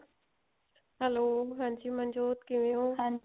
hello ਹਾਂਜੀ ਮਨਜੋਤ ਕਿਵੇਂ ਹੋ